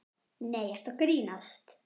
Nei, ertu að grínast?